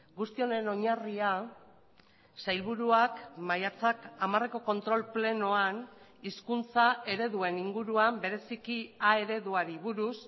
guzti honen oinarria sailburuak maiatzak hamareko kontrol plenoan hizkuntza ereduen inguruan bereziki a ereduari buruz